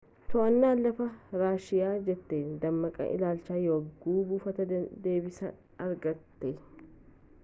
to'annaan lafaa raashiiya jeetii dammaqsee ilaalcha yagguu buufataa deebisee argate